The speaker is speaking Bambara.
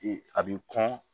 a b'i kɔn